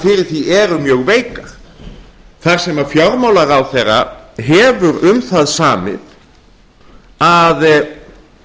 fyrir því eru mjög veikar þar sem fjármálaráðherra hefur um það samið að